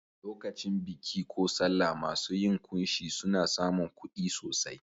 Lokacin biki ko sallah masu yin kunshi suna samun kuɗi sosai.